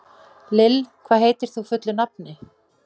Lill, hvað heitir þú fullu nafni?